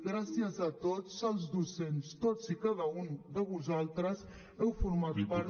gràcies a tots els docents tots i cada un de vosaltres heu format part